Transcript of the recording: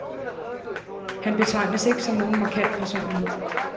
Han betegnes ikke som nogen markant personlighed.